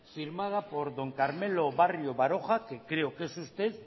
firmada por don carmelo barrio baroja que creo que es usted